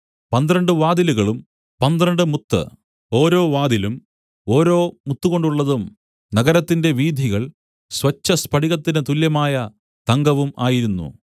പന്ത്രണ്ട് വാതിലുകളും പന്ത്രണ്ട് മുത്ത് ഓരോ വാതിലും ഓരോ മുത്തുകൊണ്ടുള്ളതും നഗരത്തിന്റെ വീഥികൾ സ്വച്ഛസ്ഫടികത്തിന് തുല്യമായ തങ്കവും ആയിരുന്നു